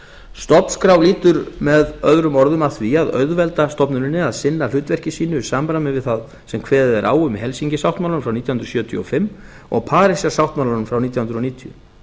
stofnskrá lýtur með öðrum orðum að því að auðvelda stofnuninni að sinna hlutverki sínu í samræmi við það sem kveðið er á um í helsinki sáttmálanum frá nítján hundruð sjötíu og fimm og parísar sáttmálanum frá nítján hundruð níutíu